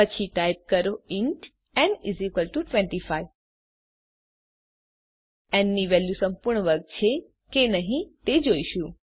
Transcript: પછી ટાઇપ કરો ઇન્ટ ન 25 ન ની વેલ્યુ સંપૂર્ણ વર્ગ છે કે નહી તે જોઈશું